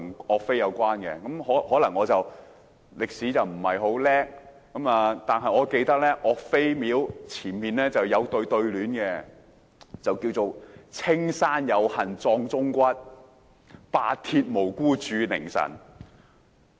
我可能不大精通歷史，但卻記得岳王廟有一副對聯，上書"青山有幸埋忠骨白鐵無辜鑄佞臣"。